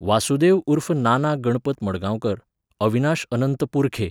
वासुदेव उर्फ नाना गणपत मडगांवकर, अविनाश अनंत पुरखे